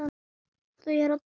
Þau eru að dansa